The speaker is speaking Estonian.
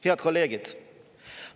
Head kolleegid!